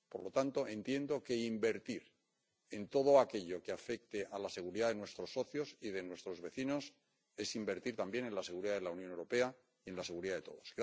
Por lo tanto, entiendo que invertir en todo aquello que afecte a la seguridad de nuestros socios y de nuestros vecinos es invertir también en la seguridad de la Unión Europea y en la seguridad de todos.